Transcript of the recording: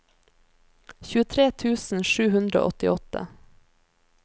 tjuetre tusen sju hundre og åttiåtte